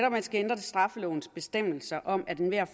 at man skal ændre straffelovens bestemmelser om at enhver